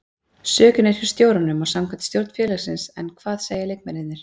Sökin er hjá stjóranum samkvæmt stjórn félagsins en hvað segja leikmennirnir?